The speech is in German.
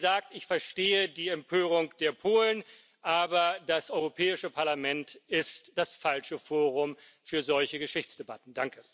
Wie gesagt, ich verstehe die Empörung der Polen, aber das Europäische Parlament ist das falsche Forum für solche Geschichtsdebatten.